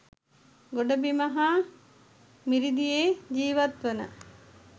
ගොඩබිම හා මිරිදියේ ජීවත් වන